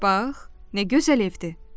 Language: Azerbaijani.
Bax, nə gözəl evdir.